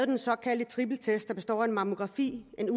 den såkaldte trippeltest der består af en mammografi en